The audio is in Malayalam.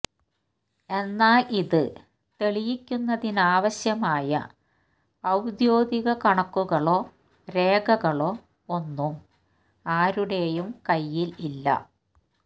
എന്നാൽ ഇത് തെളിയിക്കുന്നതിനാവശ്യമായ ഔദ്യോഗിക കണക്കുകളോ രേഖകളോ ഒന്നും ആരുടേയും കൈയിൽ ഇല്ല